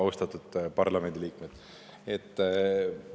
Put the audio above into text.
Austatud parlamendiliikmed!